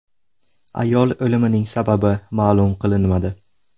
Ayol o‘limining sababi ma’lum qilinmadi.